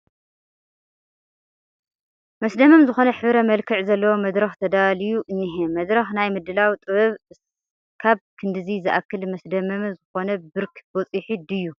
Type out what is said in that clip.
መስደመም ዝኾነ ሕብረ መልክዕ ዘለዎ መድረኽ ተዳልዩ እኒሀ፡፡ መድረኽ ናይ ምድላው ጥበብ እስካብ ክንድዚ ዝኣክል መስደመሚ ዝኾነ ብርኪ በፂሑ ድዩ?